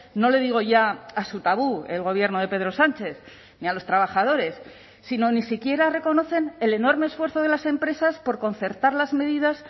no le digo ya a su tabú el gobierno de pedro sánchez ni a los trabajadores sino ni siquiera reconocen el enorme esfuerzo de las empresas por concertar las medidas